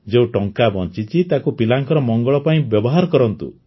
ଯେଉଁ ଟଙ୍କା ବଞ୍ଚିଛି ଛି ତାକୁ ପିଲାଙ୍କର ମଙ୍ଗଳ ପାଇଁ ବ୍ୟବହାର କରନ୍ତୁ